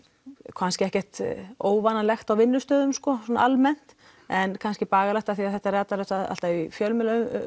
kannski ekkert óvanalegt á vinnustöðum sko svona almennt en kannski bagalegt því þetta er ratar auðvitað alltaf í fjölmiðla